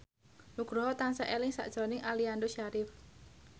Nugroho tansah eling sakjroning Aliando Syarif